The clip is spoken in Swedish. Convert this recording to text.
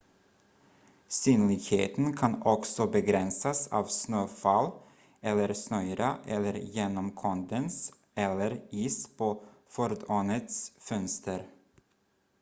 synligheten kan också begränsas av snöfall eller snöyra eller genom kondens eller is på fordonets fönster